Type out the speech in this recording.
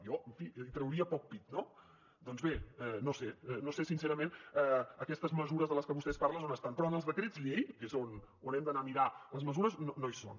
jo en fi trauria poc pit no doncs bé no ho sé no sé sincerament aquestes mesures de les que vostè parla on estan però en els decrets llei que és on hem d’anar a mirar les mesures no hi són